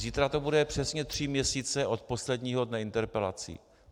Zítra to bude přesně tři měsíce od posledního dne interpelací.